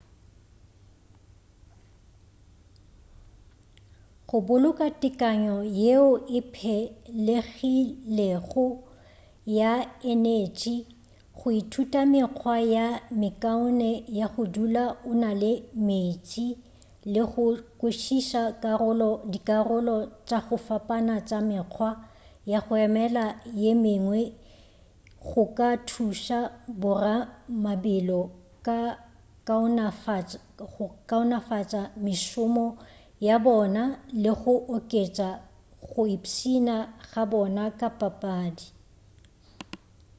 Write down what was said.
go boloka tekanyo yeo e phelegilego ya enetši go ithuta mekgwa ye mekaone ya go dula o na le meetse le go kwešiša dikarolo tša go fapana tša mekgwa ya go emela ye mengwe go ka thuša boramabelo go kaonafatša mešomo ya bona le go oketša go ipshina ga bona ka papadi